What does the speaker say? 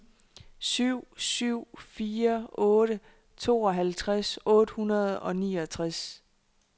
syv syv fire otte tooghalvtreds otte hundrede og niogtres